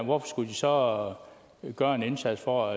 hvorfor skulle de så gøre en indsats for